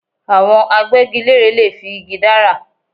Àwọn Agbẹ́gilére lè fi igi dára